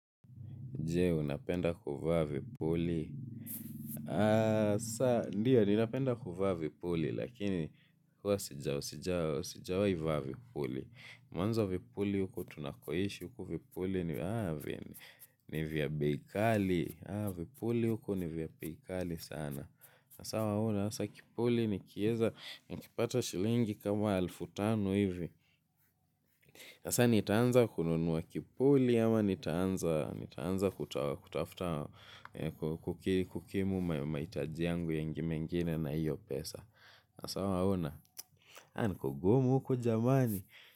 Jee, unapenda kuvaa vipuli. Hasa, ndiio ninapenda kuvaa vipuli, lakini, huwa sijawa, sijawa, sijawahi vaa vipuli. Mwanzo vipuli huko tunakoishi, huko vipuli, ni vya bei kali, vipuli huku ni vya bei kali sana. Haa, waona, hasa kipuli, nikieza, nikipata shilingi kama elfu tano hivi. Hasa, nitaanza kununua kipuli, ama nitaanza kutafuta kukimu mahitaji yangu mengine na hiyo pesa. Hasaa waona. Na ni kugumu huku jamani.